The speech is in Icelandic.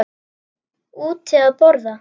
Úti að borða.